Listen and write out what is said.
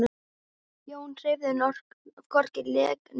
Jón hreyfði hvorki legg né lið.